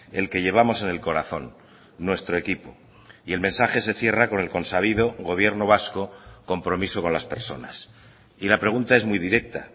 el que llevamos en el corazón nuestro equipo y el mensaje se cierra con el consabido gobierno vasco compromiso con las personas y la pregunta es muy directa